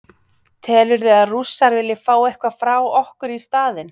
Telurðu að Rússar vilji fá eitthvað frá okkur í staðinn?